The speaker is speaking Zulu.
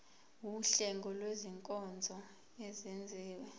wuhlengo lwezinkonzo ezenziwa